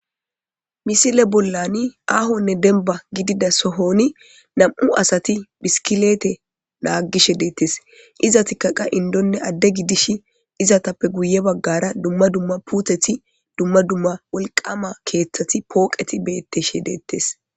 misile bollani aahonne denba gidida sohoni nam7u asati biskileete naagishe deettes iza tikaqa indonne adde gidish izatappe guye baggara dumma dumma puteti dumma dumma wolqama keeththati pooqeti betteshe deettes